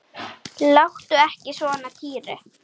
Láttu ekki svona Týri.